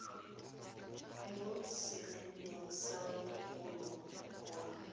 mo seliping sa mogolo wa